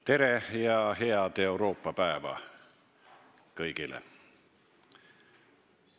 Tere ja head Euroopa päeva kõigile!